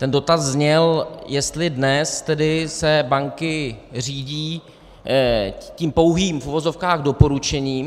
Ten dotaz zněl, jestli dnes se tedy banky řídí tím pouhým, v uvozovkách, doporučením.